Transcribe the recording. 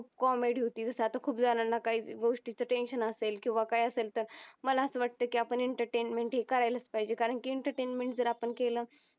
Comedy हुती. जस अत्ता खूप जनांना काय गोष्टीच tension असेल किव्हा काय तर असेल मला अस वाटतंय कि आपण एंटरटेनमेंट करायलास पाहिजे कारण कि एंटरटेनमेंट जरा आपण केल तर